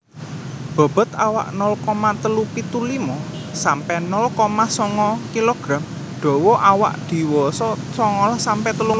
Bobot awak nol koma telu pitu limo sampe nol koma songo kg dawa awak diwasa songolas sampe telung puluh cm